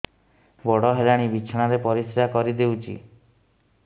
ବଡ଼ ହେଲାଣି ବିଛଣା ରେ ପରିସ୍ରା କରିଦେଉଛି